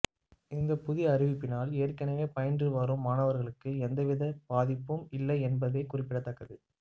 இந்த புதிய அறிவிப்பினால் ஏற்கனவே பயின்று வரும் மாணவர்களுக்கு எந்தவித பாதிப்பும் இல்லை என்பது குறிப்பிடத்தக்கது